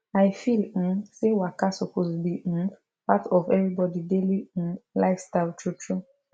i feel um say waka suppose be um part of everybody daily um lifestyle true true